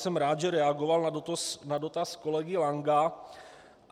Jsem rád, že reagoval na dotaz kolegy Lanka.